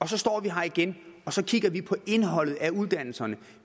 så står vi her igen og så kigger vi på indholdet af uddannelserne